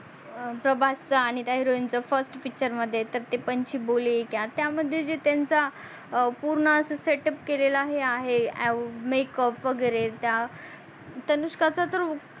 प्रभासचा आणि त्या heroine चा first picture मध्ये तर ते पंछी बोले हे कया त्या मध्ये जे त्यांच्या पूर्ण अस setup केलेल्या आहे makeup वगेरे त्या अनुष्काचा तर